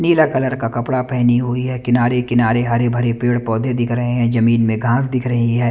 नीला colour का कपड़ा पहनी हुई है किनारे किनारे हरे भरे पेड़ पौधे दिख रहे हैं जमीन में घास दिख रही है।